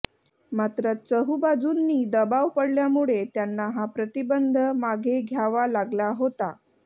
मात्र चहुबाजूंनी दबाव पडल्यामुळे त्यांना हा प्रतिबंध मागे घ्यावा लागला होता